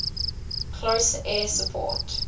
close air support